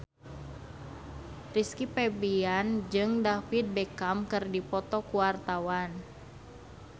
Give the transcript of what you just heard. Rizky Febian jeung David Beckham keur dipoto ku wartawan